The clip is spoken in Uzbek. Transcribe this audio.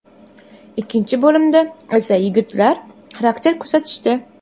Ikkinchi bo‘limda esa yigitlar xarakter ko‘rsatishdi.